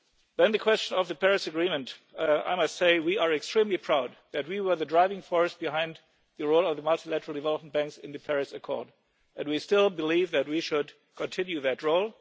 way. On the question of the Paris Agreement, I must say that we are extremely proud that we were the driving force behind the role of the multilateral development banks in the Paris Accord, and we still believe that we should continue that